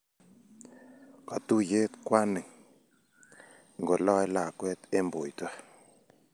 Katuiye kwaning�ng'koloe lakweet eng boito.